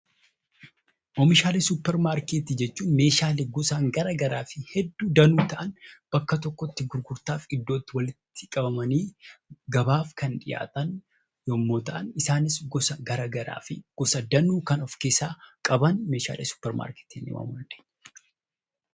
Oomishaalee suupparmaarkeetii jechuun meeshaalee gosa garaagaraa fi hedduu ta'an bakka tokkotti gurgurtaaf iddoo itti walitti qabamanii gabaaf kan dhiyaatan yommuu ta'an isaanis gosa garaagaraa fi gosa danuu kan of keessaa qaban meeshaalee suupparmaarkeetii jennee waamna.